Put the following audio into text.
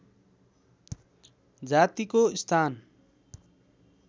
जातिको स्थान